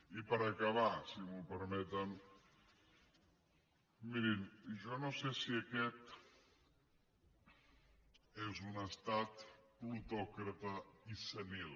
i per acabar si m’ho permeten mirin jo no sé si aquest és un estat plutòcrata i senil